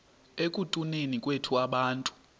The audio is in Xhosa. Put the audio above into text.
ekutuneni kwethu abantu